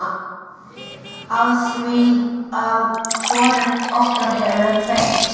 Afþvíað hvorugt okkar hefur kveikt.